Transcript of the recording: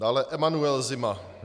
Dále Emanuel Zima.